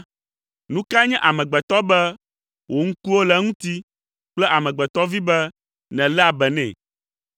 Nu kae nye amegbetɔ be wò ŋkuwo le eŋuti kple amegbetɔvi be nèléa be nɛ?